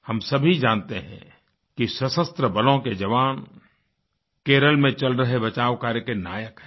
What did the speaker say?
हम सभी जानते हैं कि सशस्त्र बलों के जवान केरल में चल रहे बचाव कार्य के नायक हैं